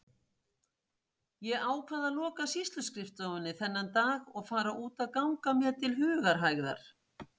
Ég ákvað að loka sýsluskrifstofunni þennan dag og fara út að ganga mér til hugarhægðar.